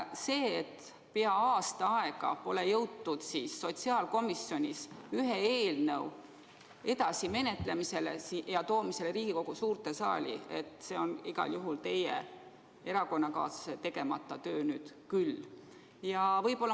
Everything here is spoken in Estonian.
See, et pea aasta aega pole jõutud sotsiaalkomisjonis üht eelnõu edasi menetleda ja tuua see Riigikogu suurde saali, on igal juhul teie erakonnakaaslase tegemata töö.